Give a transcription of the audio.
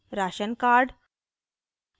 ration card